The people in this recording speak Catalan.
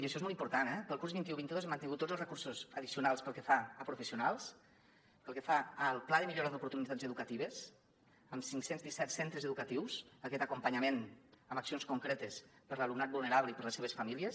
i això és molt important eh per al curs vint un vint dos hem mantingut tots els recursos addicionals pel que fa a professionals pel que fa al pla de millora d’oportunitats educatives amb cinc cents i disset centres educatius aquest acompanyament amb accions concretes per a l’alumnat vulnerable i per a les seves famílies